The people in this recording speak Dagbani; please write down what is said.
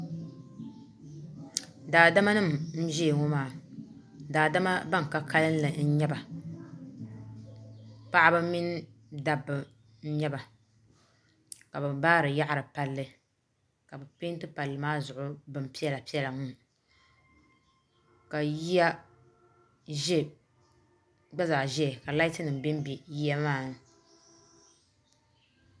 Daadama nim n zaya ŋɔ maa daadama Bani ka kanli n nyɛ ba paɣaba mini dabba n nyɛla ka bi baari yaɣiri palli ka bi pɛnti palli maa zuɣu bini piɛlla piɛlla n ŋɔ ka ye yagba zaa ziya ka laati nima bɛ mbɛ yiya maa ni.